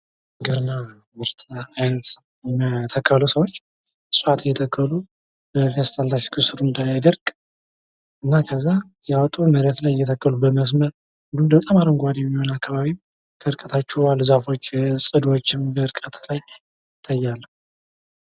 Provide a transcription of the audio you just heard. የሥራ ፈጠራ ወጣቶች አዳዲስ የንግድ ሀሳቦችን በመፍጠር የሥራ ዕድልን በማስፋት ለኢኮኖሚ እድገት አስተዋጽኦ ያደርጋሉ።